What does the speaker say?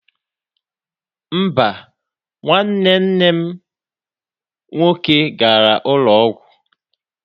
Mba, nwanne nne m nwoke gara ụlọ ọgwụ.